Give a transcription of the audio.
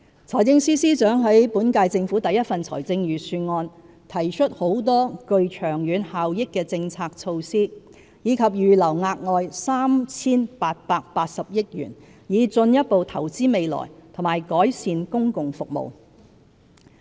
財政司司長在本屆政府的第一份財政預算案提出很多具長遠效益的政策措施，以及預留額外 3,880 億元以進一步投資未來和改善公共服務。